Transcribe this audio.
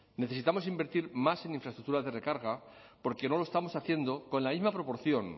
necesitamos invertir más en infraestructura de recarga porque no lo estamos haciendo con la misma proporción